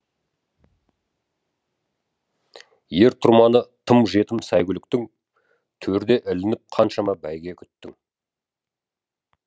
ер тұрманы тым жетім сәйгүліктің төрде ілініп қаншама бәйгі күттің